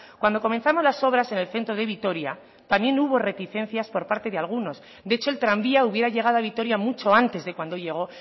cuando comenzamos las obras en el centro de vitoria también hubo reticencias por parte de algunos de hecho el tranvía hubiera llegado a vitoria mucho antes de cuando llegó